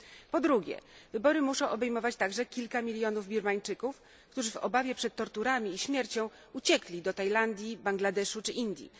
Po drugie, wybory muszą obejmować także kilka milionów Birmańczyków, którzy w obawie przed torturami i śmiercią uciekli do Tajlandii, Bangladeszu czy Indii.